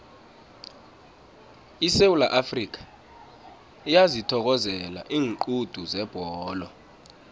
isewula afrikha iyazithokozela iinqundu zebholo